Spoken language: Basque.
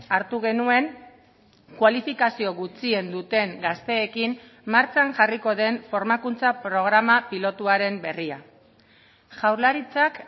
hartu genuen kualifikazio gutxien duten gazteekin martxan jarriko den formakuntza programa pilotuaren berria jaurlaritzak